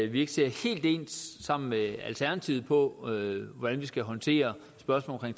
vi ikke ser helt ens sammen med alternativet på hvordan vi skal håndtere spørgsmålet